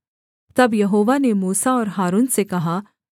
तब यहोवा ने मूसा और हारून से कहा